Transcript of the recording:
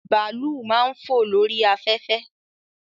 Bàálù máa ń fò lórí afẹ́fẹ́